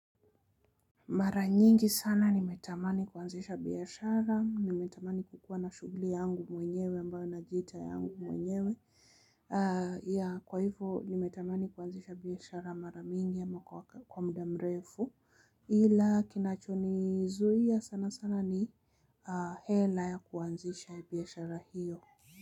Mara nyingi sana nimetamani kuanzisha biashara nimetamani kukuwa na shughuli yangu mwenyewe ambayo inajiita yangu mwenyewe. Kwa hivyo nimetamani kuanzisha biashara mara mingi ama kwa muda mrefu ila kinachonizuia sana sana ni hela ya kuanzisha biashara hiyo.